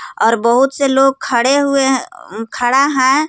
और बहुत से लोग खड़े हुए अ खड़ा हैं.